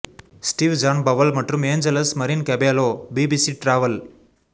Steve John Powell மற்றும் Angeles Marin Cabello BBC travel